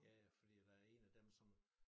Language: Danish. Ja ja fordi der er en af dem som